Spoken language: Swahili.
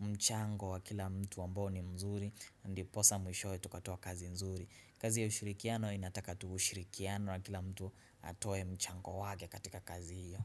mchango wa kila mtu ambao ni mzuri. Ndiposa mwishowe tukatoa kazi nzuri kazi ya ushirikiano inataka tu ushirikiano wa kila mtu atoe mchango wake katika kazi hiyo.